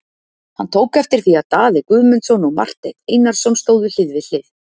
Hann tók eftir því að Daði Guðmundsson og Marteinn Einarsson stóðu hlið við hlið.